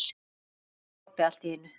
sagði Kobbi allt í einu.